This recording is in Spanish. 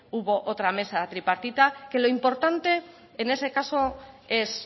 hubo otra mesa tripartita que lo importante en ese caso es